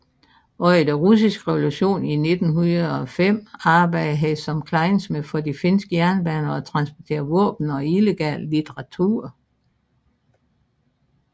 Under den Den Russiske Revolution 1905 arbejdede han som klejnsmed for de finske jernbaner og transporterede våben og illegal litteratur